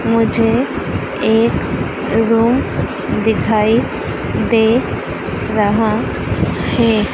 मुझे एक रूम दिखाई दे रहा है।